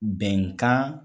Bɛnkan